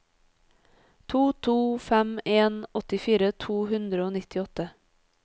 to to fem en åttifire to hundre og nittiåtte